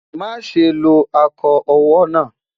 má sé ló ako owó nà